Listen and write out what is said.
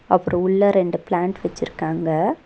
அப்றோ உள்ள ரெண்டு பிளான்ட் வச்சிருக்காங்க.